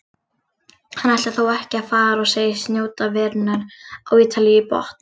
Hann ætlar þó ekki að fara og segist njóta verunnar á Ítalíu í botn.